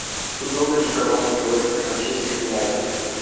футбол между командами лестер манчестер юнайтед